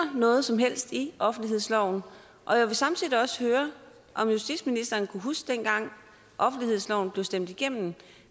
noget som helst i offentlighedsloven og jeg vil samtidig høre om justitsministeren kan huske den gang offentlighedsloven blev stemt igennem